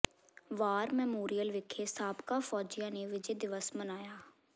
ਵਾਰ memorial ਵਿਖੇ ਸਾਬਕਾ ਫੌਜੀਆਂ ਨੇ ਵਿਜੈ ਦਿਵਸ ਮਨਾਇਆ